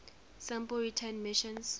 sample return missions